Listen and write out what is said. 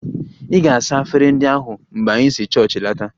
Ị ga-saa efere ndi ahu mgbe anyị si chọọchị lọta!